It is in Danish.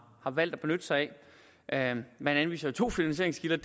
valgt at benytte sig af man anviser to finansieringskilder